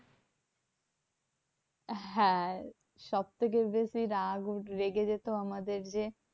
হ্যাঁ সবথেকে বেশি রাগ রেগে যেত আমাদের যে